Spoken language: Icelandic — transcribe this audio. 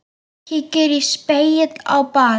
Kíkir í spegil á baðinu.